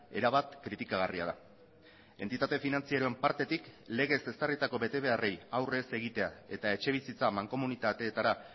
erabat kritikagarria da entitate finantzieroen partetik legez ezarritako bete beharrei aurrez egitea eta etxebizitza mankomunitateetara